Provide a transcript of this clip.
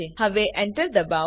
હવે Enter દબાવો